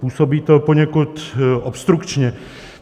Působí to poněkud obstrukčně.